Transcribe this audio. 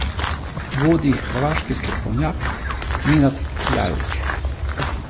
Vodi jih hrvaški strokovnjak Nenad Kljajić.